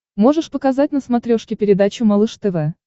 можешь показать на смотрешке передачу малыш тв